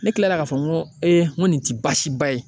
Ne kila la k'a fɔ n ko ee ko nin te baasi ba ye.